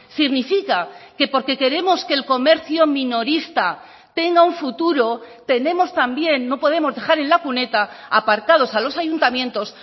significa que porque queremos que el comercio minorista tenga un futuro tenemos también no podemos dejar en la cuneta apartados a los ayuntamientos